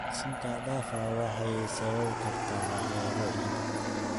Daaqsinta xad dhaafka ah waxay sababi kartaa waxyeello ciidda.